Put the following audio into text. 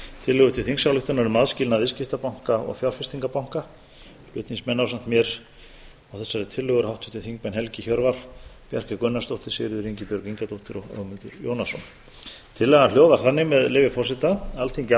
tillögu til þingsályktunar um aðskilnað viðskiptabanka og fjárfestingarbanka fall ásamt mér á þessari tillögu eru háttvirtir þingmenn helgi hjörvar bjarkey gunnarsdóttir sigríður ingibjörg ingadóttir og ögmundur jónasson tillagan hljóðar þannig með leyfi forseta alþingi